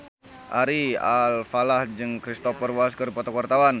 Ari Alfalah jeung Cristhoper Waltz keur dipoto ku wartawan